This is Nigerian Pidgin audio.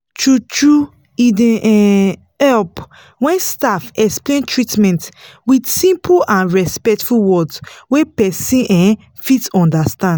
true-true e dey um help when staff explain treatment with simple and respectful words wey person um fit understand